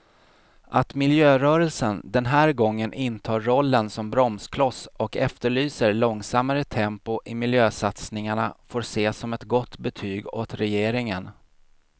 Att miljörörelsen den här gången intar rollen som bromskloss och efterlyser långsammare tempo i miljösatsningarna får ses som ett gott betyg åt regeringen.